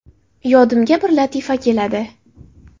Yodimga bir latifa keladi.